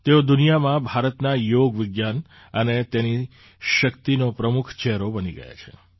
તેઓ દુનિયામાં ભારતના યોગ વિજ્ઞાન અને તેની શક્તિનો પ્રમુખ ચહેરો બની ગયાં છે